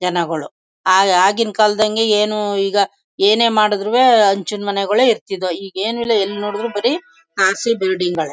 ಜನಗಳು ಆಗಿನ ಕಾಲದಂಗೆ ಏನು ಈಗ ಏನೇ ಮಾಡಿದ್ರು ಹಂಚಿನಮನಗಳ ಇರ್ತದ್ವು ಈಗ ಏನು ಇಲ್ಲ ಎಲ್ಲಿ ನೋಡಿದರೂ ಬರೀ ರ್‌ಸಿ ಬಿಲ್ಡಿಂಗ್ ಗಳೇ.